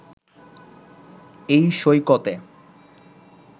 এই সৈকতে